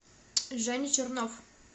женя чернов